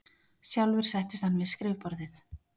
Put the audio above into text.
Sjálfur settist hann við skrifborðið.